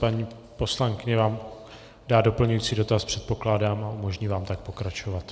Paní poslankyně vám dá doplňující dotaz, předpokládám, a umožní vám tak pokračovat.